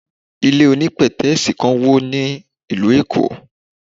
Ilé onípètẹ́sì kan wó ní ìlú Èkó.